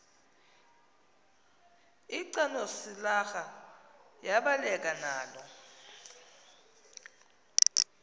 lcanosilarha yabaleka nalo